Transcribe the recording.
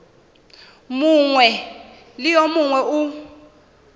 mongwe le yo mongwe o